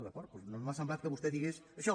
doncs no m’ha semblat que vostè digués això